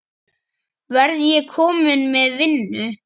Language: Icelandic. Verð ég kominn með vinnu?